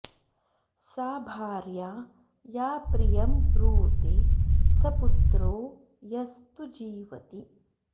सा भार्या या प्रियं ब्रूते स पुत्रो यस्तु जीवति